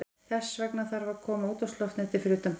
Þess vegna þarf að koma útvarpsloftneti fyrir utan bílinn.